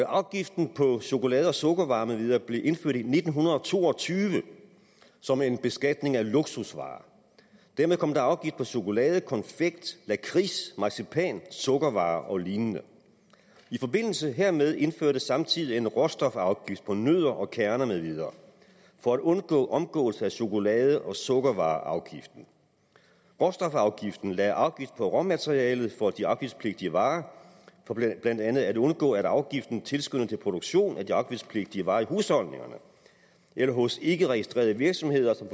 afgiften på chokolade og sukkervarer med videre blev indført i nitten to og tyve som en beskatning af luksusvarer dermed kom der afgift på chokolade konfekt lakrids marcipan sukkervarer og lign i forbindelse hermed indførtes samtidig en råstofafgift på nødder og kerner med videre for at undgå omgåelse af chokolade og sukkervareafgiften råstofafgiften lagde afgift på råmaterialet for de afgiftspligtige varer for blandt andet at undgå at afgiften tilskyndede til produktion af de afgiftspligtige varer i husholdningerne eller hos ikkeregistrerede virksomheder som